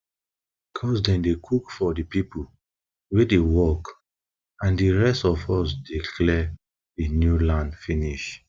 cuz dem dey cook for di pipo wey dey work and di rest of us dey clear di new land finish